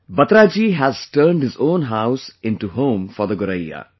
Batra Ji has turned his own house into home for the Goraiya